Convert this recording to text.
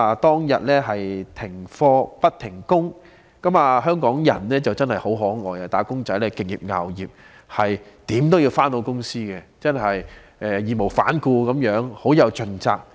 當日停課不停工，但香港人很可愛，"打工仔"敬業樂業，無論如何也要上班，真的是義無反顧地，十分盡責。